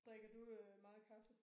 Drikker du øh meget kaffe?